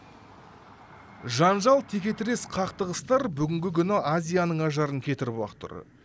жанжал текетірес қақтығыстар бүгінгі күні азияның ажарын кетіріп ақ тұр